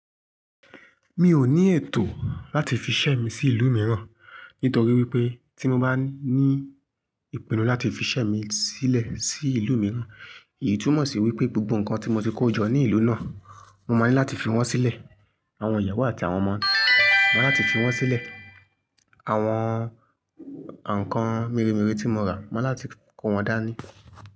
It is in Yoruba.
Mi ò ní ètò láti fi ṣẹ́ mi sí ìlú mìíràn, nítorí wípé tí mo bá ní ìpinnu láti fi ṣẹ́ mi sílẹ̀ sí ìlú mìíràn, èyí túmọ̀ sí wípé gbogbo nǹkan tí mo ti kó jọ ní ìlú náà, mo máa ní láti fi wọ́n sílẹ̀. Àwọn ìyàwó àti àwọn ọmọ mi, mo máa láti fi wọ́n sílẹ̀. Àwọn, ǹkán mere mere tí mo rà, mo máa láti kó wọn dání.